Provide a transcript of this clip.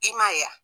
I ma ye wa